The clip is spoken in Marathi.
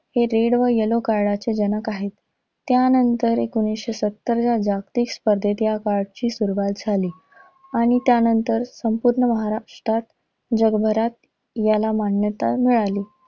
हे red व yellow card चे जनक आहेत. त्यानंतर एकोणीसशे सत्तरच्या जागतिक स्पर्धेत ह्या card ची सुरुवात झाली. आणि त्यानंतर संपुर्ण महाराष्ट्रात, जगभरात याला मान्यता मिळाली.